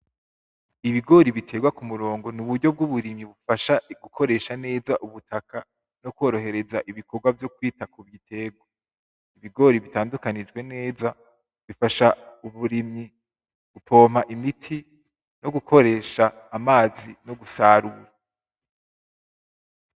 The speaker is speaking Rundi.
Ibigori biterwa k’umurongo n’uburyo bwuburimyi bufasha gukoresha neza ubutaka nokorohereza ibikorwa vyo kwita kugiterwa ,ibigori bitandukanijwe neza bifasha uburimyi gupompa imiti nogukoresha amazi no mugusarura